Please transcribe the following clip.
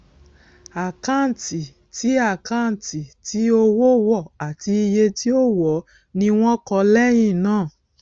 àkáǹtì tí àkáǹtì tí owó wọ àti iye tí ó wọọ ni wọn kọ lẹyìn náà